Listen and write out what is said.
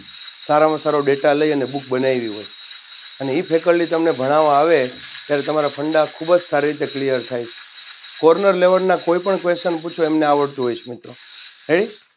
સારમાં સારો ડેટા લઈને બુક બનાવી હોય અને feculty તમને ભણાવવામાં આવે ત્યારે તમારા funds ખૂબ જ સારી રીતે Clear થાય Corner Level ના કોઈપણ Question એમને પૂછો આવડતા હોય છે મિત્ર હેં